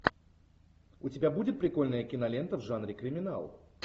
у тебя будет прикольная кинолента в жанре криминал